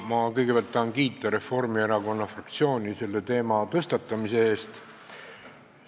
Ma kõigepealt tahan kiita Reformierakonna fraktsiooni selle teema tõstatamise eest.